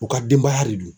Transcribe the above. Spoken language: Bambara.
U ka denbaya de don